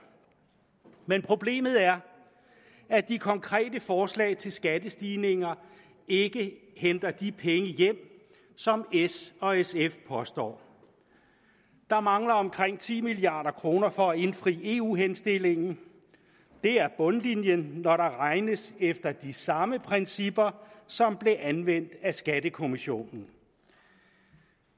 problemet er at de konkrete forslag til skattestigninger ikke henter de penge hjem som s og sf påstår der mangler omkring ti milliard kroner for at indfri eu henstillingen det er bundlinjen når der regnes efter de samme principper som blev anvendt af skattekommissionen